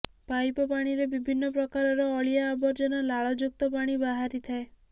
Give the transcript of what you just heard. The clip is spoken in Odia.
ପାଇପ ପାଣିରେ ବିଭିନ୍ନ ପ୍ରକାରର ଅଳିଆ ଆବର୍ଜନା ଲାଳଯୁକ୍ତ ପାଣି ବାହାରିଥାଏ